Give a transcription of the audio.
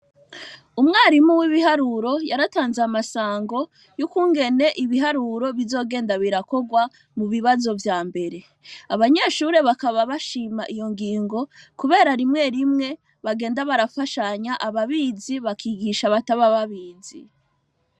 Umwarimu w'ibiharuro yaratanze amasango y'ukugene ibiharuro bizgenda birakorwa mu bibazo vya mbere. Abannyeshure bakaba bashima iyo ngingo kubera rimwe rimwe bagenda barafashanya ababizi bakigisha abatabizi.